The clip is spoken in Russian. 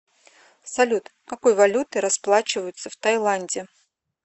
салют какой валютой расплачиваются в тайланде